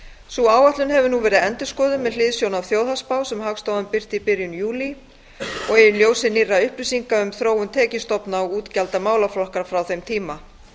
sú áætlun hefur nú verið endurskoðuð með hliðsjón af þjóðhagsspá sem hagstofan birti í byrjun júlí og í ljósi nýrra upplýsinga um þróun tekjustofna og útgjalda málaflokka frá þeim tíma